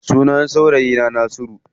Sunan saurayi na Nasiru.